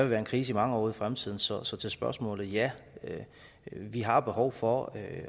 være en krise i mange år ud i fremtiden så så til spørgsmålet ja vi har behov for at